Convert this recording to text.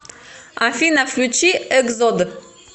афина включи эгзод